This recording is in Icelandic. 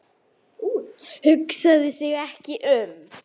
Hugsaði sig ekki um!